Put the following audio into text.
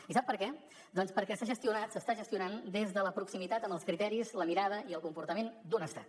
i sap per què doncs perquè s’ha gestionat s’està gestionant des de la proximitat amb els criteris la mirada i el comportament d’un estat